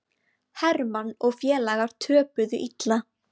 Hermann og félagar töpuðu illa